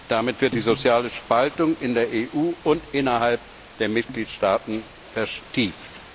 Damit wird die soziale Spaltung in der EU und innerhalb der Mitgliedstaaten vertieft.